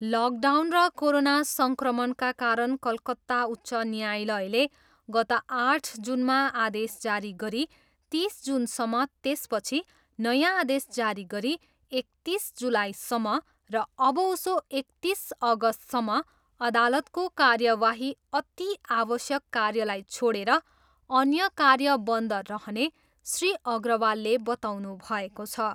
Lockdown र corona सङ्क्रमणका कारण कलकत्ता उच्च न्यायालयले गत आठ जुनमा आदेश जारी गरी तिस जुनसम्म त्यसपछि नयाँ आदेश जारी गरी एकतिस जुलाईसम्म र अबउसो एकतिस अगस्तसम्म अदालतको कार्यवाही अति आवश्यक कार्यलाई छोडेर अन्य कार्य बन्द रहने श्री अग्रवालले बताउनुभएको छ।